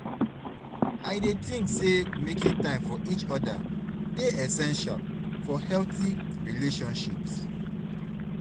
I dey think say making time for each oda dey essential for healthy relationships.